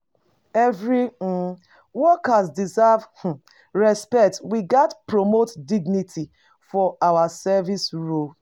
Every um worker deserve um respect; we gats promote dignity for all service roles.